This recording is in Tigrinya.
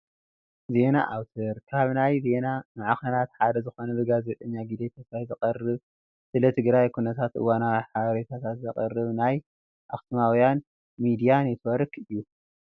ዜና ኣውትር፡- ካብ ናይ ዜና ማዕኸናት ሓደ ዝኾነ ብጋዜጠኛ ግደይ ተስፋይ ዝቐርብ ስለ ትግራይ ኩነታትን እዋናዊ ሓበሬታት ዘቕርብ ናይ ኣኽሱማውያን ሚድያ ኔት ዎርክ እዩ፡፡